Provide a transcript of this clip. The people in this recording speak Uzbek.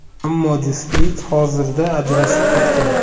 Ammo juftlik hozirda ajrashib ketgan.